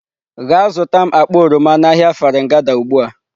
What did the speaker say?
Gaa zụta m akpa oroma n'ahịa Farin gada ugbu a!.